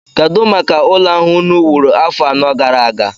Kedụ maka ụlọ ahụ unu wuru afọ anọ gara aga?